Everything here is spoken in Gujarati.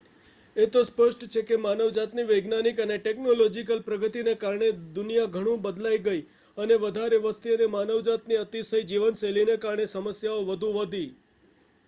એ તો સ્પષ્ટ છે કે માનવજાતની વૈજ્ઞાનિક અને ટેકનોલોજીકલ પ્રગતિને કારણે દુનિયા ઘણું બદલાઈ ગયી, અને વધારે વસ્તી અને માનવજાતની અતિશય જીવનશૈલીને કારણે સમસ્યાઓ વધુ વધી